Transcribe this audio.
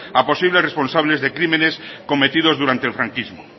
a posibles responsables de crímenes cometidos durante el franquismo